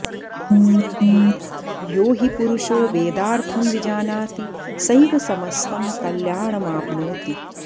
यो हि पुरुषो वेदार्थं विजानाति सैव समस्तं कल्याणमाप्नोति